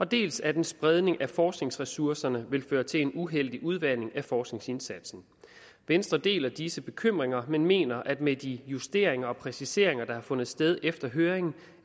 dels at en spredning af forskningsressourcerne vil føre til en uheldig udvanding af forskningsindsatsen venstre deler disse bekymringer men mener at vi med de justeringer og præciseringer der har fundet sted efter høringen